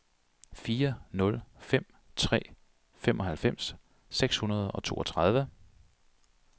fire nul fem tre femoghalvfems seks hundrede og toogtredive